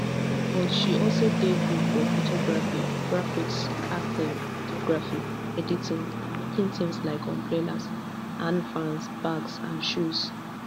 but she also dey good at photography graphics acting videography editing and making tins like umbrellas hand fans bags and shoes